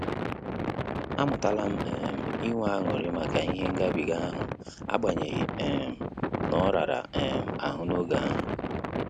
Amutalam um inwe aṅụrị maka ihe ngabiga ahụ agbanyeghi um n'orara um ahụ n'oge ahu